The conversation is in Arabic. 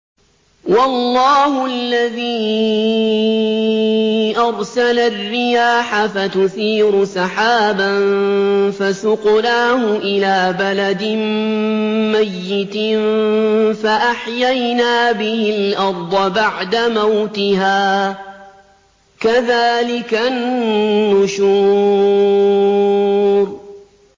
وَاللَّهُ الَّذِي أَرْسَلَ الرِّيَاحَ فَتُثِيرُ سَحَابًا فَسُقْنَاهُ إِلَىٰ بَلَدٍ مَّيِّتٍ فَأَحْيَيْنَا بِهِ الْأَرْضَ بَعْدَ مَوْتِهَا ۚ كَذَٰلِكَ النُّشُورُ